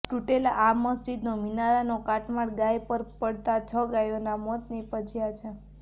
તૂટેલા આ મસ્જિદનો મિનારાનો કાટમાળ ગાય પર પડતા છ ગાયોના મોત નિપજ્યા છે